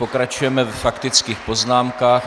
Pokračujeme ve faktických poznámkách.